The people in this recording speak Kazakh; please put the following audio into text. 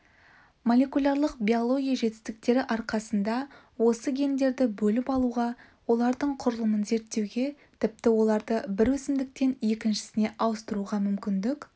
молекулярлық биология жетістіктері арқасында осы гендерді бөліп алуға олардың құрылымын зерттеуге тіпті оларды бір өсімдіктен екіншісіне ауыстыруға мүмкіндік